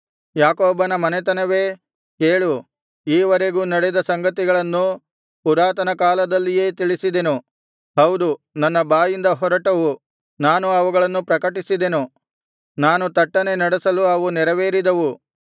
ಯಾಕೋಬನ ಮನೆತನವೇ ಕೇಳು ಈವರೆಗೂ ನಡೆದ ಸಂಗತಿಗಳನ್ನು ಪುರಾತನಕಾಲದಲ್ಲಿಯೇ ತಿಳಿಸಿದೆನು ಹೌದು ನನ್ನ ಬಾಯಿಂದ ಹೊರಟವು ನಾನು ಅವುಗಳನ್ನು ಪ್ರಕಟಿಸಿದೆನು ನಾನು ತಟ್ಟನೆ ನಡೆಸಲು ಅವು ನೆರವೇರಿದವು